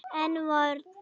En hvorn?